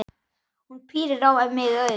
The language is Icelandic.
Hún pírir á mig augun.